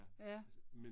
Ja